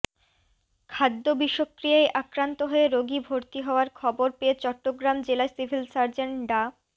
খাদ্য বিষক্রিয়ায় আক্রান্ত হয়ে রোগী ভর্তি হওয়ার খবর পেয়ে চট্টগ্রাম জেলা সিভিল সার্জন ডা